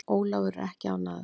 Ólafur er ekki ánægður.